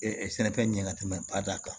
sɛnɛfɛn ɲɛ ka tɛmɛ bada kan